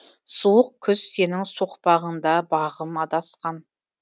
суық күз сенің соқпағыңда бағым адасқан